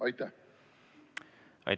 Aitäh!